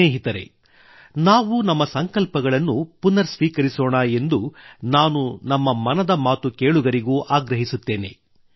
ಸ್ನೇಹಿತರೇ ನಾವು ನಮ್ಮ ಸಂಕಲ್ಪಗಳನ್ನು ಪುನರ್ ಸ್ವೀಕರಿಸೋಣ ಎಂದು ನಾನು ನಮ್ಮ ಮನದ ಮಾತು ಕೇಳುಗರಿಗೂ ಆಗ್ರಹಿಸುತ್ತೇನೆ